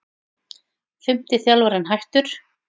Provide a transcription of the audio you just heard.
Fimmti þjálfarinn hættur